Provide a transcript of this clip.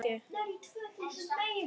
Jú, ætli það ekki bara!